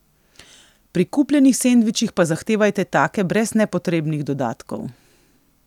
Pri kupljenih sendvičih pa zahtevajte take brez nepotrebnih dodatkov.